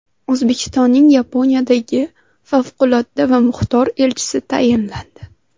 O‘zbekistonning Yaponiyadagi favqulodda va muxtor elchisi tayinlandi.